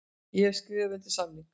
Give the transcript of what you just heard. Ég hef skrifað undir samning.